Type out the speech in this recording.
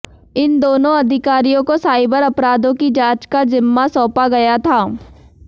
इन दोनों अधिकारियों को साइबर अपराधों की जांच का जिम्मा सौंपा गया था